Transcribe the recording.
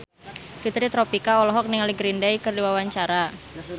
Fitri Tropika olohok ningali Green Day keur diwawancara